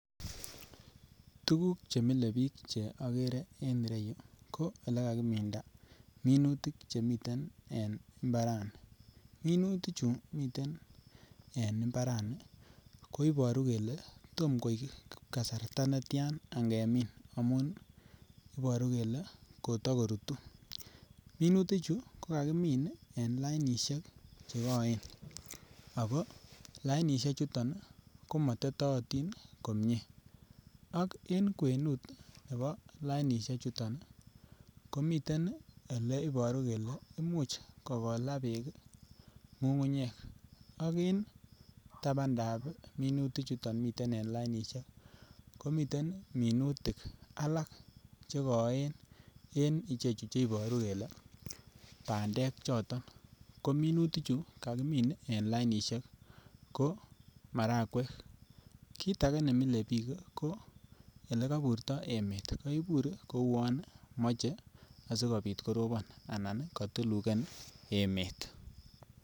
Tuguk chemile biik che agere en ireyu ko olekakiminda minutik chemiten en imbarani. Minuti chu miten en imbarani ko ibaru kele tom koip kasarta netian ngemin amun ibaru kele kotakorutu. Minuti chu ko kakimin en lainisiek che koen ago lainisie chuton komatetaatin komie ak en kwenut nebo lainisie chuton komiten leibaru kele imuch kokola beek ngungunyek ak en tabandab minuti chuton miten en lainisiek komiten minutik alak che koen en ichechu chebaru kele bandek choton ko minutichu kakimin en lainisiek ko marakwek. Kit age ne mile biik ko olekaiburto emet, kaibur kouwon mache asigopit korobon anan katulugen emet